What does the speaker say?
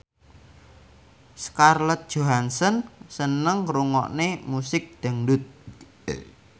Scarlett Johansson seneng ngrungokne musik dangdut